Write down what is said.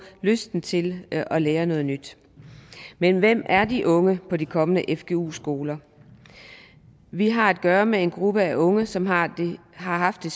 lysten til at lære noget nyt men hvem er de unge på de kommende fgu skoler vi har at gøre med en gruppe af unge som har haft det